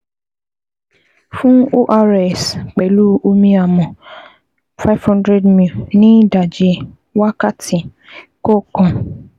Fún ORS pẹ̀lú omi amọ̀, five hundred ml ní ìdajì wákàtí kọ̀ọ̀kan